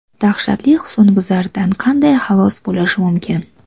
Dahshatli husnbuzardan qanday xalos bo‘lish mumkin?.